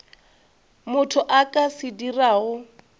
motho a ka se dirago